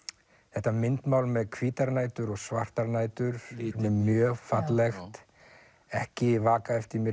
þetta myndmál með hvítar nætur og svartar nætur mjög fallegt ekki vaka eftir mér í